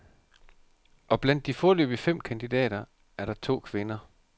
Og blandt de foreløbig fem kandidater er der to kvinder.